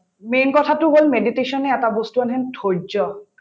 main কথাটো হল meditation য়ে এটা বস্তু আনে ধৈৰ্য্য